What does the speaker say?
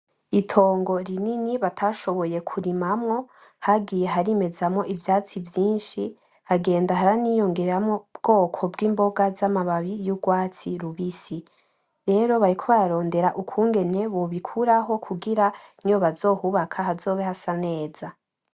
Itongo rinini batashoboye kurimamwo hagiye harimezamwo ivyatsi vyishi hagenda haraniyongeramwo ubwoko bwimboga za mababi y'urwatsi rubisi. Rero bariko bararondera ukungene bobi kuraho kugira niyo bazohubaka hazobe hasa neza.